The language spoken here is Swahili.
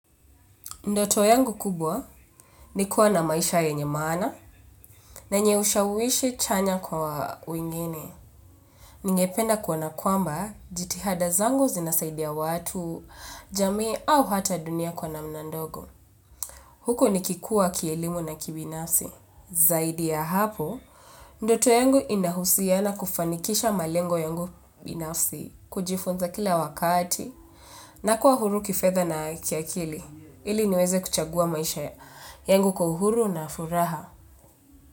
Ndoto yangu kubwa ni kuwa na maisha yenye maana na yenye ushawishi chanya kwa wengine. Ningependa kuona kwamba jitihada zangu zinasaidia watu, jamii au hata dunia kwa namna ndogo. Huko nikikua kielimu na kibinasi. Zaidi ya hapo, ndoto yangu inahusiana kufanikisha malengo yangu binafsi, kujifunza kila wakati. Na kuwa huru kifedha na kiakili, ili niweze kuchagua maisha yangu kwa uhuru na furaha.